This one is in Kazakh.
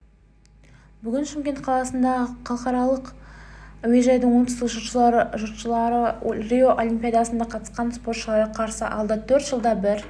бүгін шымкент қаласындағы халықаралық әуежайдан оңтүстік жұртшылығы рио олимпиадасына қатысқан спортшыларды қарсы алды төрт жылда бір